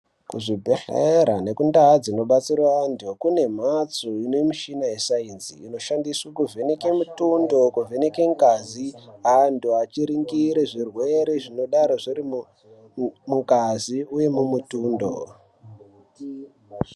Muzvibhehleya nekumhatso dzinodetsera anhu kune mhatso inemichina yescience inoshandiswe kuvheneke mutundo kuvheneke ngazi anhu achiringire zvirwere zvinodai zviri mungazi uye mumutundo.